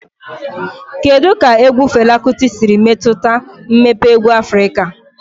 Kedu ka egwu Fela Kuti siri metụta mmepe egwu Afrika?